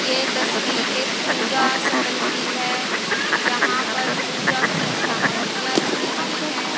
ये तस्वीर एक पूजा शटल की है यहां पर पूजा की सामग्रियां रखी हुई हैं।